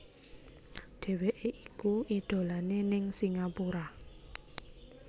Dheweké iku idolané ning Singapura